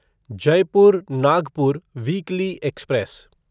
Jaipur Nagpur weekly express